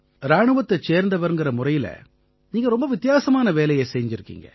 இராணுவத்தைச் சேர்ந்தவர்ங்கற முறையில நீங்க ரொம்ப வித்தியாசமான வேலைய செய்திருக்கீங்க